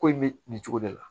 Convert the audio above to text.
Ko in bɛ nin cogo de la